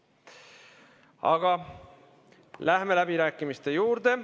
Aga lähemegi nüüd läbirääkimiste juurde.